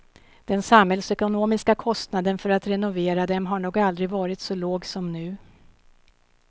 Den samhällsekonomiska kostnaden för att renovera dem har nog aldrig varit så låg som nu.